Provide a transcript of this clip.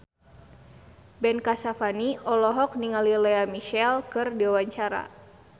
Ben Kasyafani olohok ningali Lea Michele keur diwawancara